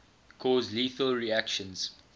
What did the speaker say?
cause lethal reactions